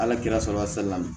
Ala kira sɔrɔ a salila